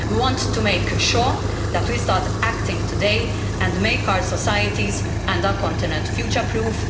We want to make sure that we start acting today and make our societies and our continent future proof.